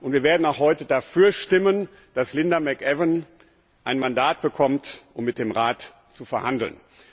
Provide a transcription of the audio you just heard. Wir werden auch heute dafür stimmen, dass Linda McAvan ein Mandat bekommt, um mit dem Rat zu verhandeln.